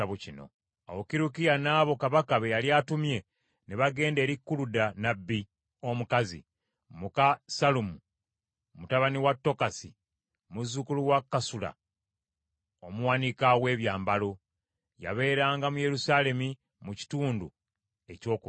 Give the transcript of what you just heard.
Awo Kirukiya n’abo kabaka be yali atumye ne bagenda eri Kuluda nnabbi omukazi, muka Sallumu mutabani wa Tokasi muzzukulu wa Kasula omuwanika w’ebyambalo. Yabeeranga mu Yerusaalemi mu kitundu ekyokubiri.